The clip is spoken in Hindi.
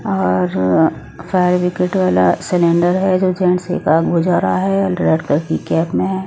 और फायर ब्रिगेड वाला सिलेंडर है जो जेंट्स एक आग बुझा रहा है और रेड कलर की कैप में है।